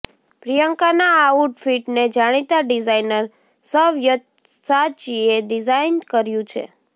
પ્રિયંકાના આ આઉટફિટને જાણીતા ડિઝાઈનર સવ્યસાચીએ ડિઝાઈન કર્યુ છે